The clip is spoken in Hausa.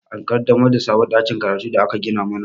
An ƙaddamar da sabon ɗakin karatun da aka gina mana